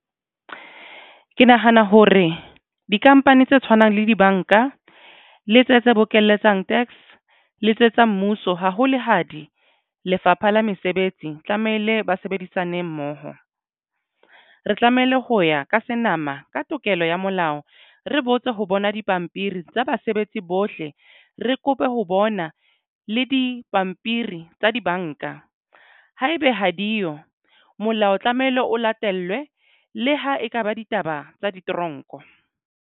Ke nahana hore di-company tse tshwanang le dibanka le tse tse bokelletseng tax le tse tsa mmuso hahole ha di Lefapha la Mesebetsi tlamehile ba sebedisane mmoho. Re tlamehile ho ya ka senama ka tokelo ya molao. Re botse ho bona dipampiri tsa basebetsi bohle re kope ho bona le dipampiri tsa dibanka haebe ha diyo molao tlamehile o latellwe le ha ekaba ditaba tsa di toronko.